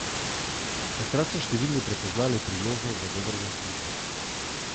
Takrat so številni prepoznali priložnost za dober zaslužek.